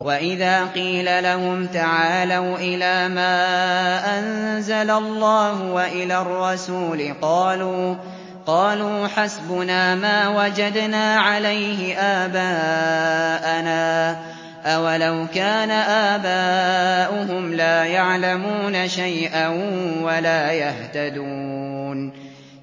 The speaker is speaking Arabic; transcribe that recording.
وَإِذَا قِيلَ لَهُمْ تَعَالَوْا إِلَىٰ مَا أَنزَلَ اللَّهُ وَإِلَى الرَّسُولِ قَالُوا حَسْبُنَا مَا وَجَدْنَا عَلَيْهِ آبَاءَنَا ۚ أَوَلَوْ كَانَ آبَاؤُهُمْ لَا يَعْلَمُونَ شَيْئًا وَلَا يَهْتَدُونَ